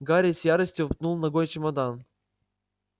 гарри с яростью пнул ногой чемодан